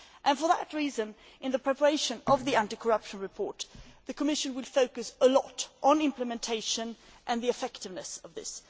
For that reason, in the preparation of the anti corruption report, the Commission will focus a great deal on the implementation and effectiveness of this.